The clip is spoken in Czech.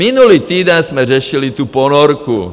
Minulý týden jsme řešili tu ponorku.